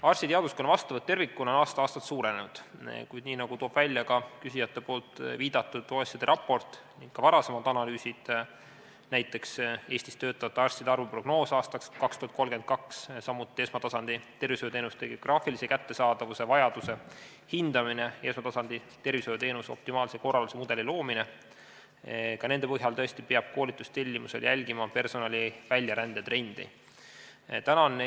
Arstiteaduskonna vastuvõtt tervikuna on aasta-aastalt suurenenud, kuid nii nagu selgub küsijate viidatud OECD raportist ning ka varasematest analüüsidest, näiteks Eestis töötavate arstide arvu prognoosid aastaks 2032, samuti esmatasandi tervishoiuteenuste geograafilise kättesaadavuse vajaduse hindamise ja esmatasandi tervishoiuteenuse optimaalse korralduse mudeli loomine, peab koolitustellimuse tegemisel jälgima personali väljarände trendi.